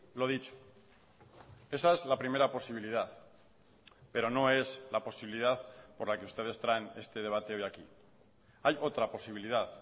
lo dicho esa es la primera posibilidad pero no es la posibilidad por la que ustedes traen este debate hoy aquí hay otra posibilidad